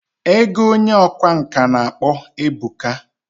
Ego Onye ọkwá nkà na akpo ebuka.